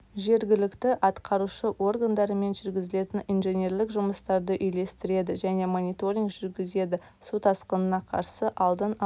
жергілікті атқарушы органдармен жүргізілетін инженерлік жұмыстарды үйлестіреді және мониторинг жүргізеді су тасқынына қарсы алдын алу